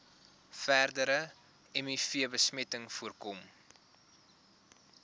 verdere mivbesmetting voorkom